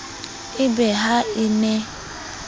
e be ha e ne